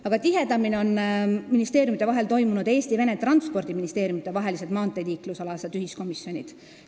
Aga tihedamini on toimunud Eesti ja Vene transpordiministeeriumide maanteeliikluse ühiskomisjoni kogunemised.